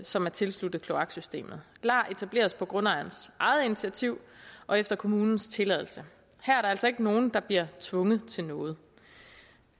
som er tilsluttet kloaksystemet lar etableres på grundejerens eget initiativ og efter kommunens tilladelse her er der altså ikke nogen der bliver tvunget til noget